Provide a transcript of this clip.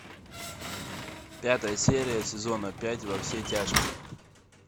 пятая серия сезона пять во все тяжкие